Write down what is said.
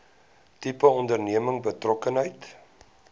tipe onderneming betrokkenheid